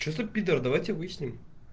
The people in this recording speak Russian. что за пидор давайте выясним